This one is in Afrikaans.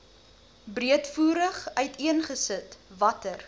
breedvoerig uiteengesit watter